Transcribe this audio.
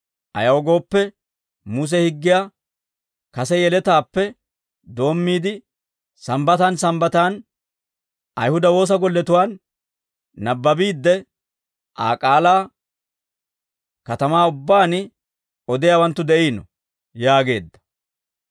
Ayaw gooppe, Muse higgiyaa kase yeletaappe doommiide Sambbataan Sambbataan Ayihuda woosa golletuwaan nabbabiidde, Aa k'aalaa katamaa ubbaan odiyaawanttu de'iino» yaageedda.